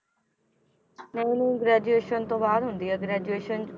ਨਹੀਂ ਨਹੀਂ graduation ਤੋਂ ਬਾਅਦ ਹੁੰਦੀ ਹੈ graduation